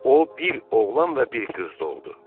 O bir oğlan və bir qız doğdu.